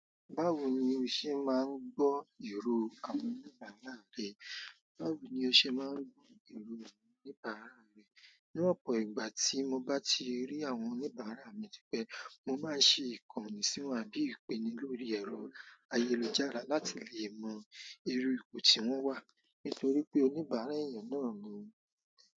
Báwo ni o ṣe máa ń gbọ́ èrò àwọn oníbàárà rẹ? Báwo ni o ṣe máa ń gbọ́ èrò àwọn oníbàárà rẹ? Ní ọ̀pọ̀ ìgbà tí mo bá ti rí àwọn oníbàárà mi tí pẹ́, mo máa ń ṣe ìkànnì sí wọn àbí ìpènílò orí ẹ̀rọ ayélujára láti lè mọ iru ipò tí wọ́n wà. Nítorí pé oníbàárà èèyàn náà ni.